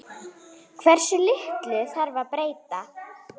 Hversu litlu þarf að breyta?